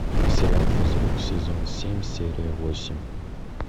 сериал физрук сезон семь серия восемь